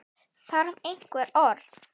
Þarf einhver orð?